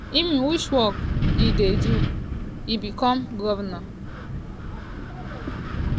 im which work e do before e become govnor?